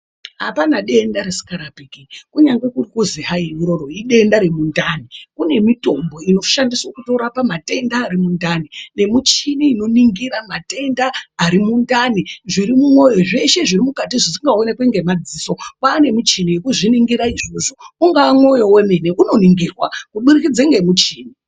Hapana denda risingarapiki kunyange kuzi hai idenda risingarapiki kunyange kuzi hai idenda remundani kune mitombo inoshandiswa kutorapa matenda Ari mundani muchini inoningira matenda Ari mundani zveshe zviri mumwoyo zviri mukati zvisingaonekwi nemadziso kwane muchini wekuzviningira izvozvo unga mwoyo wemene unoningirwa kubudikidza nemuchini.